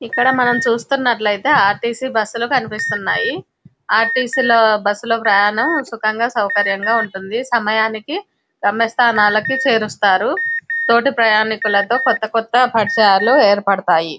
ఇక్కడ మనం చూస్తున్నట్లయితే ఆర్టీసీ బస్సులు కనిపిస్తున్నాయి. ఆర్టీసీ లో బస్సులో ప్రయాణం సుఖంగా సౌకర్యంగా ఉంటుంది. సమయానికి గమ్యస్థానాలకు చేరుస్తారు. తోటి ప్రయాణికులతో కొత్త కొత్త పరిచయాలు ఏర్పడతాయి.